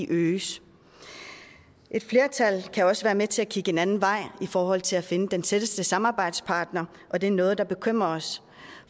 øges et flertal kan også være med til at kigge en anden vej i forhold til at finde den tætteste samarbejdspartner og det er noget der bekymrer os